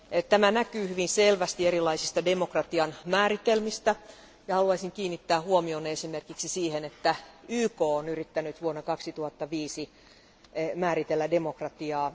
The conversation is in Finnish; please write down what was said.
Tämä näkyy hyvin selvästi erilaisista demokratian määritelmistä ja haluaisin kiinnittää huomion esimerkiksi siihen, että YK on yrittänyt vuonna 2005 määritellä demokratiaa.